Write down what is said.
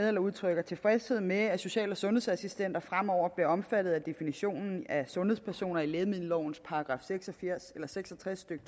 vil udtrykke tilfredshed med at social og sundhedsassistenter fremover bliver omfattet af definitionen af sundhedspersoner i lægemiddelovens § seks og tres stykke